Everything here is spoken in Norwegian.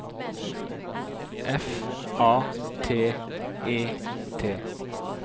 F A T E T